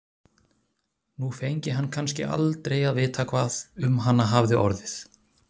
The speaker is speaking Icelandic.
Nú fengi hann kannski aldrei að vita hvað um hana hafði orðið.